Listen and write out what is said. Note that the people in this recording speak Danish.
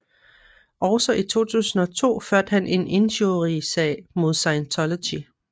Også i 2002 førte han en injuriesag mod Scientology